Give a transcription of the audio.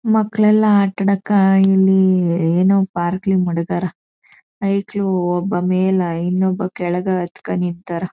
ಮಕ್ಕಲಯೆಲ್ಲ ಆಟ ಆಡಾಕ ಇಲ್ಲಿ ಏನೋ ಪಾರ್ಕ್ ಅಲ್ಲಿ ಮಡಗರ. ಐಕ್ಳು ಒಬ್ಬ ಮೇಲೆ ಇನ್ನೊಬ ಕೆಳಗೆ ಹತ್ಕೊಂಡ್ ನಿತ್ತರ.